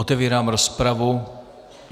Otevírám rozpravu.